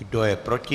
Kdo je proti?